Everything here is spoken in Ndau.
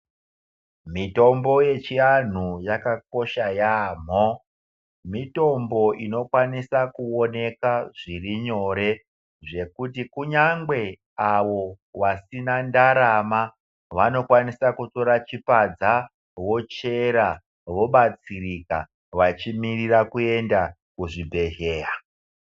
Mitombo yechiandu yakakosha yambo mitombo inokwanisa kuoneka zviri nyore zvekuti kunyangwe ava vasina ndarama vanokwanisa kutora chipadza vochera vobatsirika vachimirira kuenda kuzvi bhedhlera.